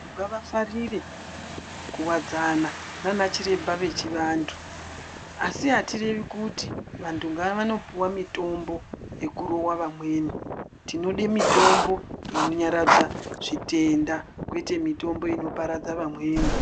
Ngavafarire kuwadzana naana chiremba vechivantu asi hatirevi kuti vantu ngavanopuwa mitombo yekurova amweni tinode mitombo inonyaradza zvitenda kwete mitombo inoparadza vamweni.